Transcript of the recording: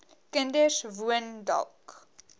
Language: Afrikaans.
kinders woon dalk